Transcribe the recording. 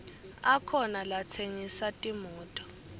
akhona latsengisa timoto